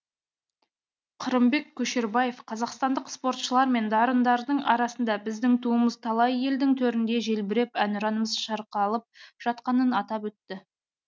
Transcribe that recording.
қырымбек көшербаев қазақстандық спортшылар мен дарындардың арқасында біздің туымыз талай елдің төрінде желбіреп әнұранымыз шырқалып жатқанын атап өтті